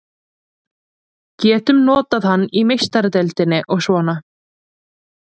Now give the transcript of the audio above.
Getum notað hann í Meistaradeildinni og svona.